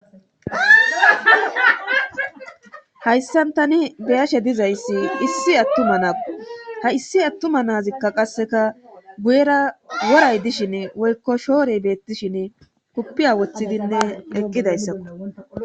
Hayssan tani beyashe dizayssi issi attuma naau ha issi attuma naazikka qasseka buyera woray dishin wolko shoorey beettishin kuppiya wothidinne eqqidayssakko.